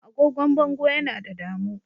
Agogon bango Yana da damuu.